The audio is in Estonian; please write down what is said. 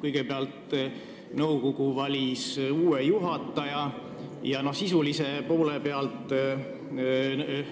Kõigepealt valis nõukogu uue juhataja ja sisulise poole pealt andis